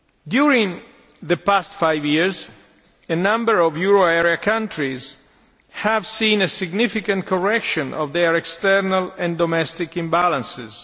During the past five years, a number of euro area countries have seen a significant correction of their external and domestic imbalances.